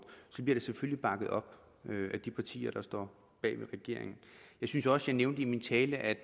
bliver det selvfølgelig bakket op af de partier der står bag regeringen jeg synes også jeg nævnte i min tale at